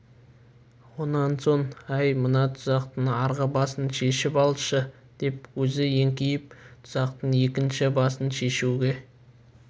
онан соңәй мына тұзақтың арғы басын шешіп алшы деп өзі еңкейіп тұзақтың екінші басын шешуге